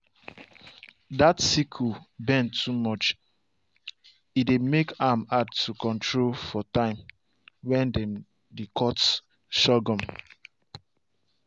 dat sickle bend too much e dey make am hard to control for time when dem dey cut sorghum.